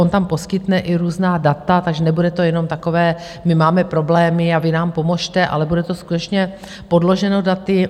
On tam poskytne i různá data, takže nebude to jenom takové: My máme problémy a vy nám pomozte, ale bude to skutečně podloženo daty.